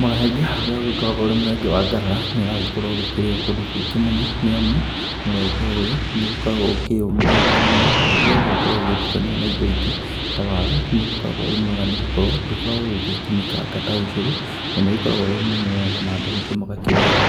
Mũrenge ũrĩa ũgĩkoragwo ũrĩ mũrenge wa ngarara nĩ ũragĩkorwo ũgĩkĩrĩo kũndũ kũingĩ mũno. Nĩ amu mũrenge ũyũ nĩ ũgĩkoragwo ũkĩyũmĩrĩirie mũno na rĩrĩa ũgũkorwo ũgĩtukanio na indo ingĩ ta waru, nĩ ũgĩkoragwo ũrĩ mwega nĩ gũkorwo. Ndũkoragwo ũgĩgĩtinĩkanga ta ũcũrũ na nĩ ũgĩkoragwo wĩ mũmũ wega, na andũ aingĩ magakĩwenda.,